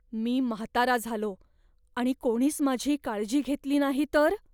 मी म्हातारा झालो आणि कोणीच माझी काळजी घेतली नाही तर?